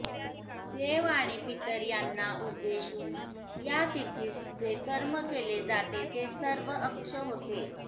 देव आणि पितर यांना उद्देशून या तिथीस जे कर्म केले जाते ते सर्व अक्ष्य होते